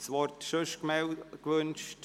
Wird das Wort sonst gewünscht?